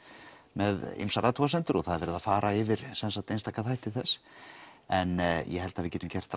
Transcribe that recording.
með ýmsar athugasemdir og það er verið að fara yfir einstaka þætti þess en ég held við getum gert